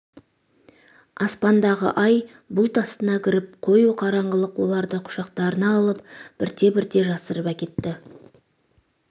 аспандағы ай бұлт астына кіріп қою қараңғылық оларды құшақтарына алып бірте-бірте жасырып әкетті